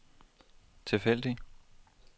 tilfældig